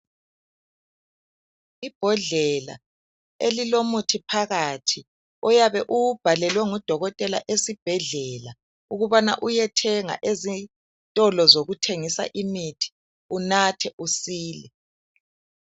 Ibhodlela elilomuthi phakathi oyabe ubhalelwe ngudokotela esibhedlela ukubana uyethenga ezitolo zokuthengisa imithi unathe usile.